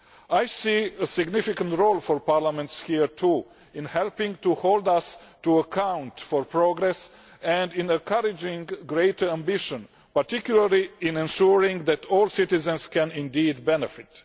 I see a significant role for parliaments here too, in helping to hold us to account on progress and in encouraging greater ambition, particularly in ensuring that all citizens can indeed benefit.